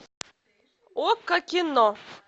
окко кино